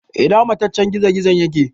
Ina mataccen gizo-gizon yake?